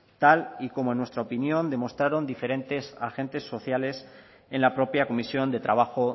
tal y como en nuestra opinión demostraron diferentes agentes sociales en la propia comisión de trabajo